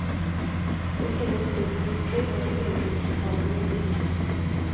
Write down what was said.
Det finnes destruktiv, og det finnes sann politikk.